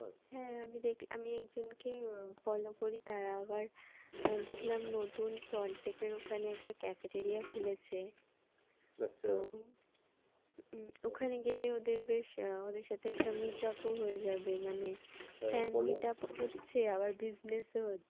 উম ওখানে গেলে বেশ ওদের সাথে একটা meet up ও হয়ে যাবে মানে হচ্ছে আবার business হচ্ছে